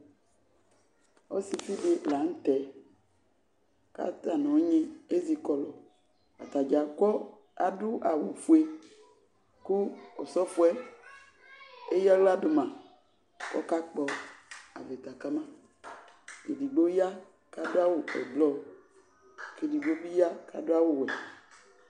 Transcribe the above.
Ɔsɩfɩ dɩ la nʋ tɛ kʋ ata nʋ ɔnyɩ ezikɔlʋ Ata dza akɔ adʋ awʋfue kʋ ɔsɔfɔ yɛ eyǝ aɣla dʋ ma kʋ ɔkakpɔ avɩta ka ma Edigbo ya kʋ adʋ awʋ ɛblɔ kʋ edigbo bɩ ya kʋ adʋ awʋwɛ